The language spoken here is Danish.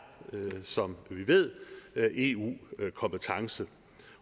som vi ved eu kompetence